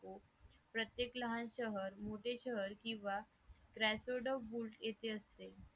tyatoo प्रत्येक लहान शहर मोठे शहर किंवा येथे असते